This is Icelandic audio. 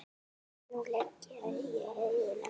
Nú legg ég augun aftur.